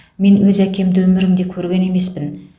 мен өз әкемді өмірімде көрген емеспін